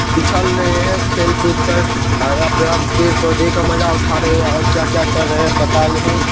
पिछल रहे हैं खेल कूद कर हरा पूरा पेड़ पोधे का मजा उठा रहे हैंऔर क्या क्या कर रहे है पता नहीं।